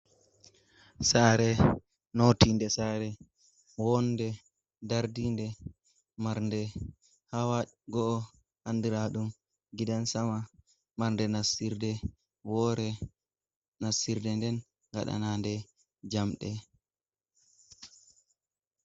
Saare notinɗe, saare wonɗe ndarɗinɗe, marnɗe hawa go’o, andira ɗum gidan sama, marnɗe nassira nɗe wore, nassirde nden gaɗana nɗe jamɗe.